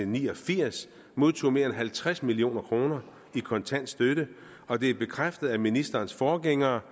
ni og firs modtog mere end halvtreds million kroner i kontant støtte og det er bekræftet af ministerens forgængere